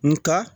Nga